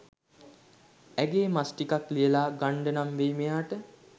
ඇඟේ මස් ටිකක් ලියලා ගන්ඩනම් වෙයි මෙයාට.